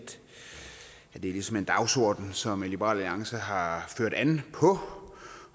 at det ligesom er en dagsorden som liberal alliance har ført an på